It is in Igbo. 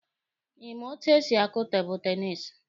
Ị ma etu esi akụ tebụlụ tenisi?